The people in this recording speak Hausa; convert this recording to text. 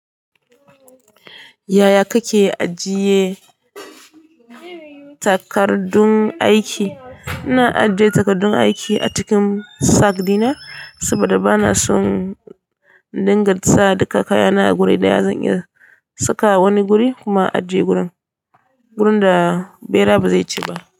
Yaya kake ajiye takardun aiki? Ina ajiye takardun aiki a cikin sack dina saboda bana son indinga sa duka kayana a guri daya. Zan iya saka a wani guri kuma ajiye gurin da ɓera ba zai ci ba.